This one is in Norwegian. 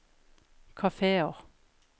kafeer